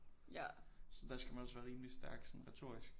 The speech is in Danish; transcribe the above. Så der skal man også være rimelig stærk sådan retorisk